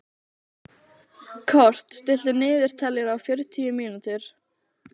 Kort (mannsnafn), stilltu niðurteljara á fjörutíu mínútur.